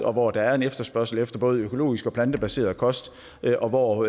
og hvor der er en efterspørgsel efter både økologisk og plantebaseret kost og hvor